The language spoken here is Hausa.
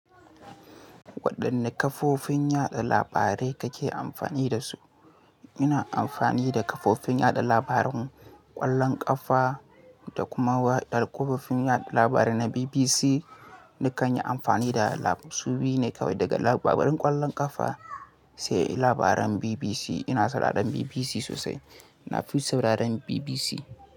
Waɗanne kafofin yaɗa labarai kake amfani da su? Ina amfani da kafofin yaɗa labaran ƙwallon ƙafa da kuma waɗann kafofin yaɗa labarai na BBC. Nakan yi amfani da su biyu ne kawai, daga labaran ƙwallon ƙafa sai labaran BBC. Ina sadar da BBC sosai. Na fi sauraren BBC.